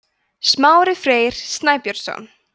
smári freyr snæbjörnsson